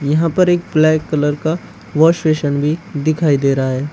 यहां पर एक ब्लैक कलर का वाश बेसन भी दिखाई दे रहा है।